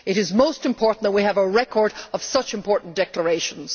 It is most important that we have a record of such important declarations.